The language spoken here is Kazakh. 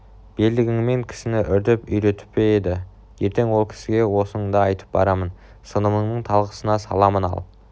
белдігіңмен кісіні ұрдеп үйретіп пе еді ертең ол кісіге осыныңды айтып барамын сыныбыңның талқысына саламын ал